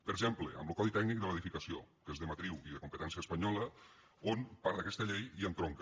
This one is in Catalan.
per exemple amb lo codi tècnic de l’edificació que és de matriu i de competència espanyola on part d’aquesta llei hi entronca